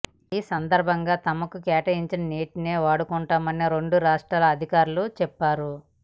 ఈ సందర్భంగా తమకు కేటాయించిన నీటినే వాడుకుంటామని రెండు రాష్ట్రాల అధికారులు చెప్పారు